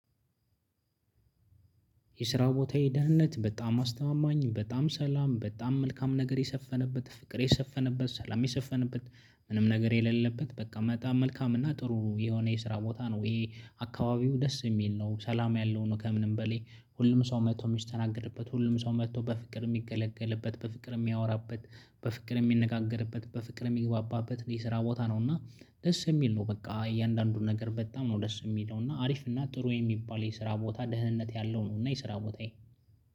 የስራ ቦታዬ የደህንነት በጣም አስተማማኝ በጣም ሰላም በጣም መልካም ነገር የሰፈነበት ፍቅር የሰፈነበት ሰላም የሰፈነበት ምንም ነገር የሌለበት በቃ መጣም መልካም እና ጥሩ የሆነ የስራ ቦታ ነው። ይሄ አካባቢው ደስ የሚል ነው ሰላም ያለው ነው። ከምንም በሌ ሁሉም ሰው መጥቶ ሚስት ተናገርበት ሁሉም ሰው መጥቶ በፍቅር የሚገለገልበት በፍቅር የሚያወራበት በፍቅር የሚነጋገርበት በፍቅር የሚግባባበት የስራ ቦታ ነው። እና ደስ የሚል ነው። በቃ እያንዳንዱን ነገር በጣም ነው ደስ የሚል ነው። እና አሪፍ እና ጥሩ የሚባል የስራ ቦታ ደህንነት ያለው ነው። እና የስራ ቦታዬ